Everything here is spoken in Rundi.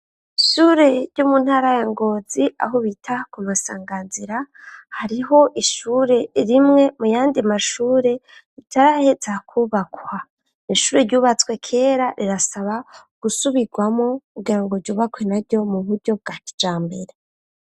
Ishure ry'umuntara yangozi aho bita ku masanganzira hariho ishure rimwe mu yandi mashure ritaraheza kubakwa ishure ryubatswe kera rirasaba gusubirwamo kugirango ryubakwe naryo mu buryo bwa kijambere.